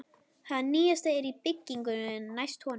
Það nýjasta er í byggingu næst honum.